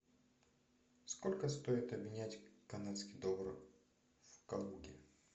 сколько стоит обменять канадский доллар в калуге